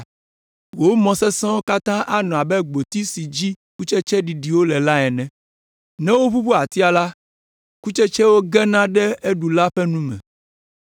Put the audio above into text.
Wò mɔ sesẽwo katã anɔ abe gboti si dzi kutsetse ɖiɖiwo le la ene. Ne woʋuʋu atia la, kutsetsewo gena ɖe eɖula ƒe nu me.